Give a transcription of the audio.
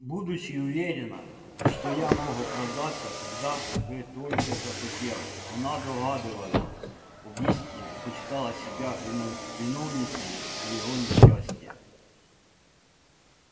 будучи уверена что я мог оправдаться когда бы только захотел она догадывалась об истине и почитала себя виновницею моего несчастия